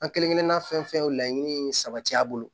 An kelenkelenna fɛn fɛn laɲini sabati a bolo